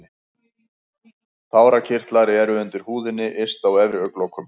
Tárakirtlar eru undir húðinni yst á efri augnlokum.